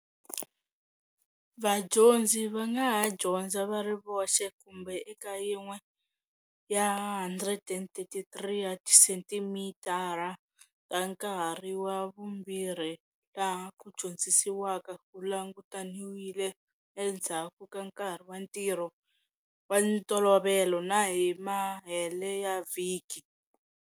Vadyondzi va nga ha dyondza va ri voxe kumbe eka yin'we ya 133 ya tisenthara ta Nkarhi wa Vumbirhi laha ku dyondzisiwaka ku langutaniwile endzhaku ka nkarhi wa ntirho wa ntolovelo na hi mahele ya vhiki.